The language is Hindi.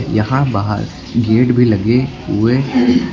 यहां बाहर गेट भी लगे हुए--